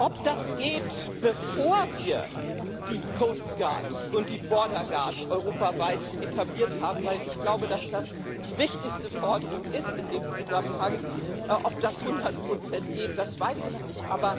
Ob das geht, bevor wir die coast guard und die border guard europaweit etabliert haben weil ich glaube, dass das die wichtigste Forderung in dem Zusammenhang ist ob das zu hundert Prozent geht, das weiß ich nicht.